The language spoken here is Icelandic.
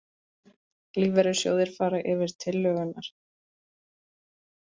Lífeyrissjóðir fara yfir tillögurnar